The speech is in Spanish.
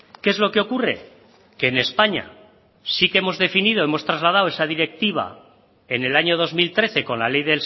qué es lo que ocurre que en españa sí que hemos definido hemos trasladado esa directiva en el año dos mil trece con la ley